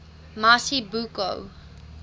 mazibuko